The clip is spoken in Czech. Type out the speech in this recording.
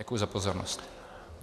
Děkuji za pozornost.